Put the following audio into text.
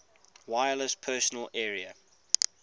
wireless personal area